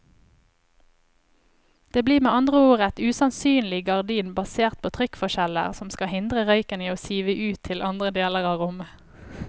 Det blir med andre ord et usynlig gardin basert på trykkforskjeller som skal hindre røyken i å sive ut til andre deler av rommet.